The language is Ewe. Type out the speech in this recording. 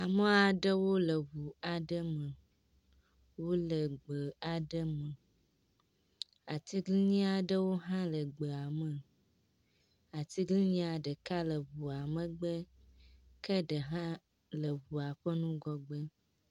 Ame aɖewo le ŋu aɖe me. Wole gbe aɖe me. aAiglinyi aɖewo hã le gbea me. Aɖeka le ŋua megbe ke ɖeka le ŋua ƒe ŋgɔgbe.